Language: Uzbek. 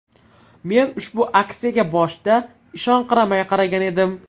Men ushbu aksiyaga boshida ishonqiramay qaragan edim.